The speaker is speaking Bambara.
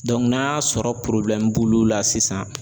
n'a y'a sɔrɔ b'olu la sisan